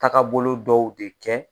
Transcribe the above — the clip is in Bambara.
Taga bolo dɔw de kɛ.